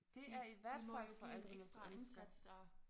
Det er i hvert fald forældrenes ønske